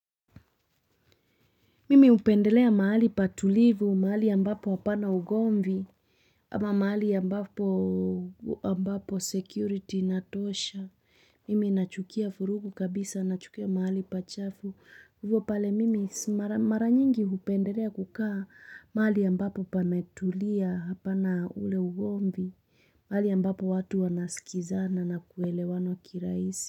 Mimi hupendelea mahali patulivu, mahali ya ambapo hapana ugomvi, ama mahali ya ambapo security inatosha. Mimi nachukia vurugu kabisa, nachukia mahali pachafu. Hivo pale mimi mara nyingi hupendelea kukaa mahali ambapo pametulia hapana ule ugomvi, mahali ya ambapo watu wanaskizana na kuelewana kirahisi.